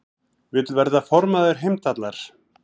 Vill verða formaður Heimdallar